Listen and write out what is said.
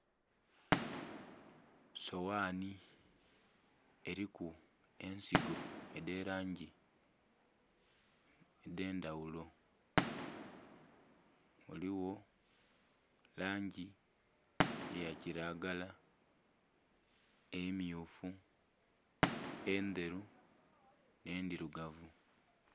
Soghani eriku ensigo edhe langi edhe ndhaghulo, ghaligho langi ya kilagala, emyufu endheru nhe endhirugavu.